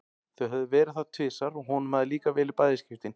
Þau höfðu verið þar tvisvar og honum hafði líkað vel í bæði skiptin.